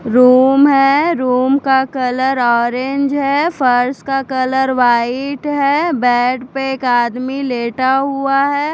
Room है room का colour orange है फर्श का कलर व्हाइट है बेड पे एक आदमी लेटा हुआ है।